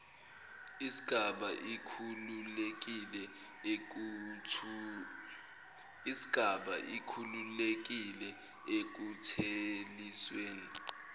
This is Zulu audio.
isgaba ikhululekile ekuthelisweni